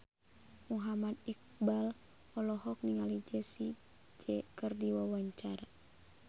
Muhammad Iqbal olohok ningali Jessie J keur diwawancara